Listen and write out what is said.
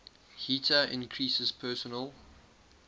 heater increases personal